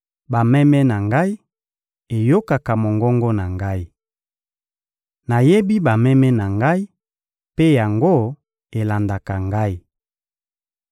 Bameme na Ngai eyokaka mongongo na Ngai. Nayebi bameme na Ngai, mpe yango elandaka Ngai.